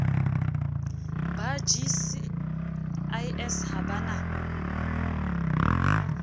ba gcis ha ba na